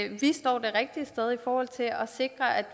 vi står det rigtige sted i forhold til at sikre at